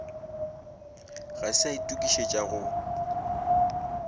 ga se a itokišetša go